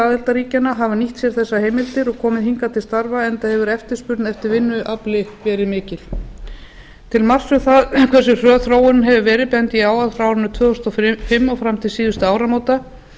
aðildarríkjanna hafa nýtt sér þessar heimildir og kom hingað til starfa enda hefur eftirspurn eftir vinnuafli verið mikil til marks um það hversu hröð þróunin hefur verið bendi ég á að frá árinu tvö þúsund og fimm og fram til síðustu áramóta